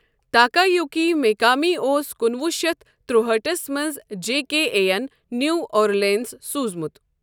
Takayuki Mikami اوس کُنوُہ شیتھ تُرہأٹھس منٛز جے کے اے یَن نیو اورلینز سوٗزمُت۔